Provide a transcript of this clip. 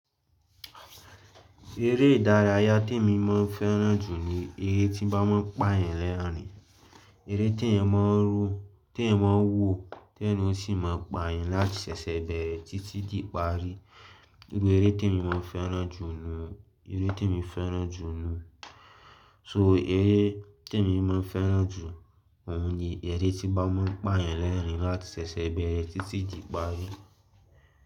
Erè ìdárayá tí mo máa ń fẹ́ràn jù ni eré tí bá máa ń pa yan lẹ́ẹ̀rín, eré tí ẹ̀yan máa ń ro, tí ẹ̀yan máa ń wò, tí ẹrin ó sì máa ń pa yan láti sẹ́sẹ bẹ̀rẹ̀ títí di ìparí. Níbo eré tí mo máa ń fẹ́ràn jù lọ, eré tí mo fẹ́ràn jù lọ. So eré tí mo máa ń fẹ́ràn jù, òun ni eré tí bá máa ń pa yẹn lẹ́ẹ̀rín láti sẹ́sẹ bẹ̀rẹ̀ títí di ìparí.